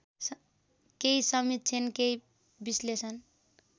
केही समीक्षण केही विश्लेषण